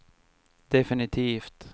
definitivt